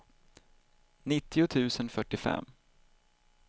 nittio tusen fyrtiofem